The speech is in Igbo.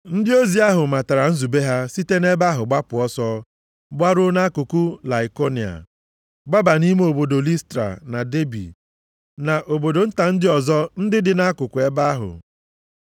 Ndị ozi ahụ matara nzube ha site nʼebe ahụ gbapụ ọsọ gbaruo nʼakụkụ Laikonia, gbaba nʼime obodo Listra na Debi na obodo nta ndị ọzọ ndị dị nʼakụkụ ebe ahụ.